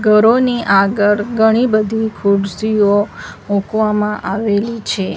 ઘરોની આગળ ઘણી બધી ખુરસીઓ મુકવામા આવેલી છે.